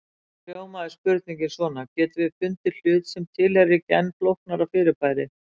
Þá hljómar spurningin svona: Getum við fundið hlut sem tilheyrir ekki enn flóknara fyrirbæri?